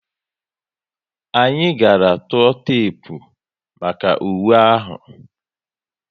Anyị gàrà tụọ tepu maka uwe ahu